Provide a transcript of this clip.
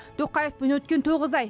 тоқаевпен өткен тоғыз ай